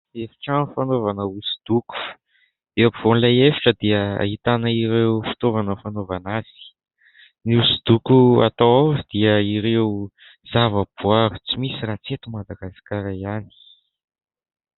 Efitrano fanaovana hosodoko, eo afovoan'ilay efitra dia ahitana ireo fitaovana fanaovana azy, ny hosodoko atao ao dia ireo zavaboary tsy misy raha tsy eto Madagasikara ihany.